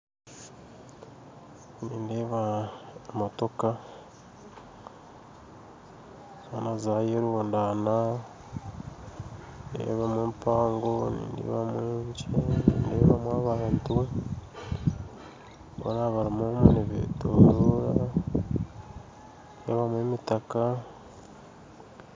Nindeeba motoka zoona zaayerundana nindeebamu empango nindeebamu enkye nindeebamu abantu boona barimu omwe nibetoroora nindeebamu emitaka